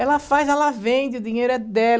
Ela faz, ela vende, o dinheiro é dela.